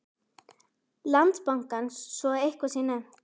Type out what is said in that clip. Landsbankans svo að eitthvað sé nefnt.